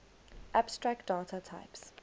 abstract data types